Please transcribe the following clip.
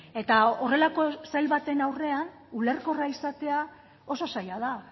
eta horrelako sail baten aurrean ulerkorra izatea oso zaila da